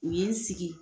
U ye n sigi